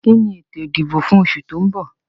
Kí ni ètò ìdìbò fún oṣù tó mbọ̀?